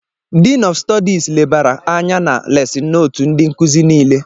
Diin ọf Stọdis lebara anya na lesin nootu ndị nkụzi nile